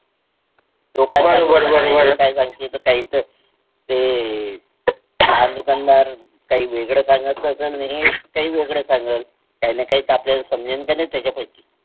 ते लहान दुकानदार काही वेगळे सांगत असेल हा काही वेगळे सांगेल काही तर आपल्याला समजेल का नाही त्याच्यापैकी